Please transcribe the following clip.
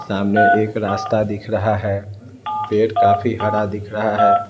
सामने एक रास्ता दिख रहा है पेड़ काफी हरा दिख रहा है।